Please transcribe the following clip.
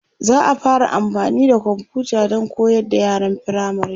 za'a fara amfani da komfuta Dan koyar da yaran firamare